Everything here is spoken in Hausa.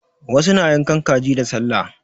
Wasu na yankan kaji da sallah.